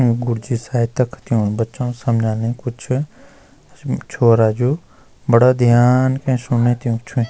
ऊ गुरजी सायद तख ड्यूणू बच्चों समझाने कुछ छोरा जू बड़ा ध्यान कै सुणने त्योंकि छुई।